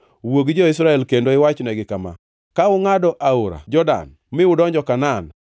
“Wuo gi jo-Israel kendo iwachnegi kama: Ka ungʼado Jordan mi udonjo Kanaan,